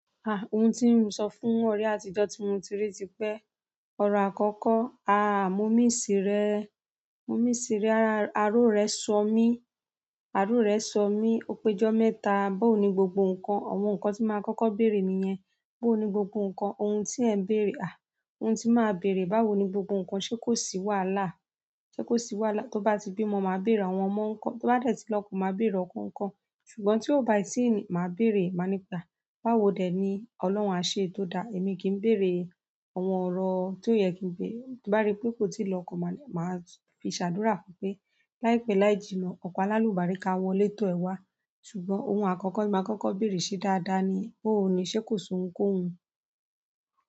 Ah! Ohun tí n sọ fún ọ̀rẹ́ àtijọ́ tí mo ti rí ti pé ọrọ àkọ́kọ́, à, mo miss rẹ, mo miss rẹ, ara o wa sọ mí, ara o wa sọ mi, ẹkú ijọ mẹ́ta. Báwo ni gbogbo nǹkan? Àwọn nǹkan tí máa kọ́kọ́ bèrè nìyẹn. Bó ni gbogbo ǹkan, ohun tí ẹ mbèrè ah. Ohun ti máa bèrè, báwo ni gbogbo ǹkan sé kò sì wàhálà, ṣe kò sì wàhálà? Tó bá ti bímọ, má bèèrè àwọn ọmọ ńkọ tó bá dẹ tí lọwọ, màá béèrè ọkọ nkọ ṣùgbọ́n tí ó bá ti ń, máa bèrè, má ní pé, ah báwo dè ni? Ọlọ́run a ṣe é tó dáa. Èmi kì í bèrè àwọn ọ̀rọ̀ tí ò yẹ kí n bèrè tí bá rí pé kò tí ì lọ́kọ, màá, màá fi ṣàdúrà fún un pé láìpẹ́ láì jìnnà, ọkọ á lálùbáríkà awọlé tọ ẹ wá. Ṣùgbọ́n ohun àkọ́kọ́ tí màá kọ́kọ́ bèrè sé dáadáa ni, booni ṣé kò sun kò hun?